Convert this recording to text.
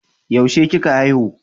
Yaushe kika haihu